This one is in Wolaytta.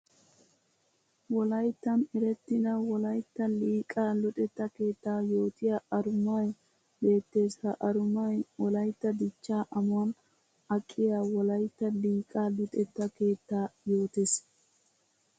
Wolayttan erettidda wolaytta liiqa luxetta keetta yootiya arumay beetes. Ha arumay wolaytta dicha amuwan aqqiya wolaytta liiqa luxetta keetta yootes.